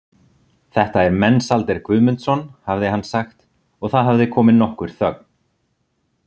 Þetta er Mensalder Guðmundsson, hafði hann sagt og það hafði komið nokkur þögn.